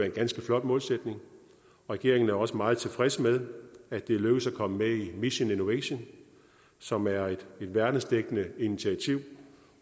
en ganske flot målsætning regeringen er også meget tilfreds med at det er lykkedes at komme med i mission innovation som er et verdensomspændende initiativ